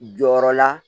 Jɔyɔrɔ la